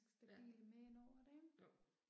Ja. Jo